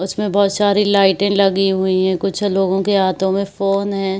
उसमें बहोत सारी लाइटें लगी हुई हैं कुछ लोगों के हाथों में फोन है।